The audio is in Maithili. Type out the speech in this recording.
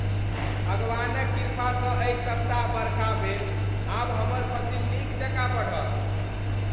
भगवानक कृपासँ एहि सप्ताह बरखा भेल। आब हमर फसिल नीक जकाँ बढ़त।